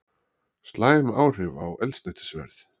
Slæm áhrif á eldsneytisverð